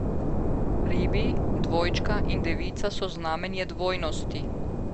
Ribi, dvojčka in devica so znamenje dvojnosti.